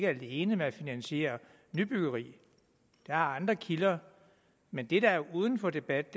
alene med at finansiere nybyggeri der er andre kilder men det der er uden for debat